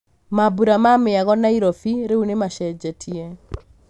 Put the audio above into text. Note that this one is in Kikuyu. Mambũra ma mĩago Nairobi rĩu nĩ macenjetie.